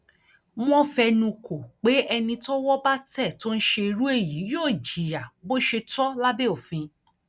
wọn fẹnukò pé ẹni tọwọ bá tẹ tó ń ṣe irú èyí yóò jìyà bó ṣe tọ lábẹ òfin